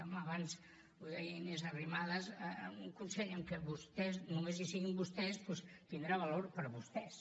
home abans ho deia inés arrimadas un consell en que només hi siguin vostès doncs tindrà valor per a vostès